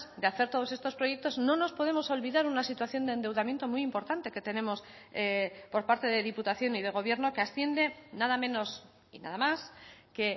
de hacer todos estos proyectos no nos podemos olvidar una situación de endeudamiento muy importante que tenemos por parte de diputación y de gobierno que asciende nada menos y nada más que